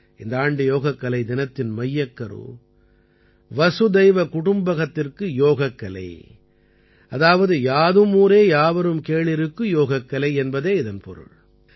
இந்த ஆண்டு யோகக்கலை தினத்தின் மையக்கரு வசுதைவ குடும்பகத்திற்கு யோகக்கலை அதாவது யாதும் ஊரே யாவரும் கேளிருக்கு யோகக்கலை என்பதே இதன் பொருள்